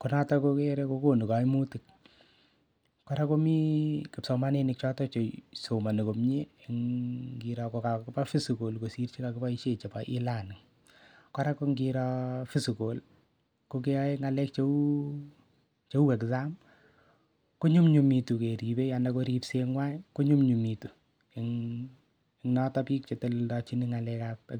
ko noto kikere kokonu kaimutik kora komi kipsomaninik chotok chesoloni komye koba physical kosir chekakiboishe chebo e-learning kora ko ngiro physical kokeyoe ng'alek cheu exam konyumnyumitu keribei anan ko ripseng'wai konyumyumitu eng' yoto biik cheteleldojini